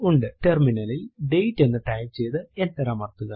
terminal ലിൽ date എന്ന് type ചെയ്തു എന്റർ അമർത്തുക